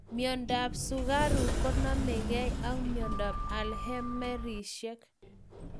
Miondap sukaruk konamekei ak miondap alzheimersishek